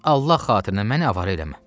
Allah xatirinə məni avara eləmə.